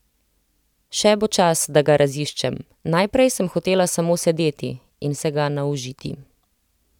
Še bo čas, da ga raziščem, najprej sem hotela samo sedeti in se ga naužiti.